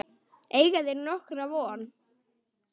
Eiga þeir þá nokkra von.